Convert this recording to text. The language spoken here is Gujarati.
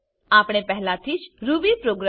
આપણે પહેલાથી જ રૂબીપ્રોગ્રામ